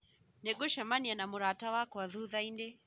Nĩngũcemania na mũrata wakwa thutha-inĩ